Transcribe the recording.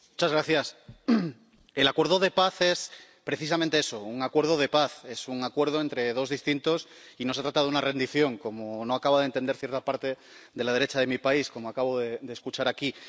Señor presidente, el acuerdo de paz es precisamente eso, un acuerdo de paz. Es un acuerdo entre dos distintos y no se trata de una rendición, como no acaba de entender cierta parte de la derecha de mi país —como acabo de escuchar aquí—.